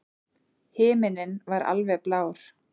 Himinninn var alveg blár.